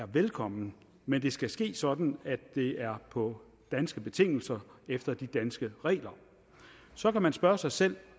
er velkommen men det skal ske sådan at det er på danske betingelser efter de danske regler så kan man spørge sig selv